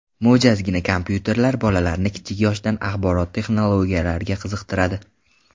Mo‘jazgina kompyuterlar bolalarni kichik yoshdan axborot texnologiyalariga qiziqtiradi.